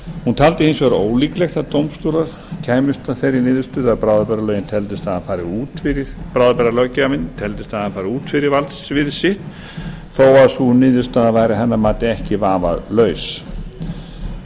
hún taldi hins vegar ólíklegt að dómstólar kæmust að þeirri niðurstöðu að bráðabirgðalöggjafinn teldist hafa farið út fyrir valdsvið sitt þó að sú niðurstaða væri að hennar mati ekki vafalaus